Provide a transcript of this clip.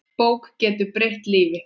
Bók getur breytt lífi.